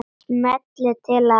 Smellið til að